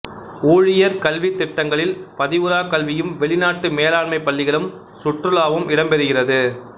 ஊழியர் கல்வித் திட்டங்களில் பதிவுறா கல்வியும் வெளிநாட்டு மேலாண்மைப் பள்ளிகளுக்கு சுற்றுலாவும் இடம் பெறுகிறது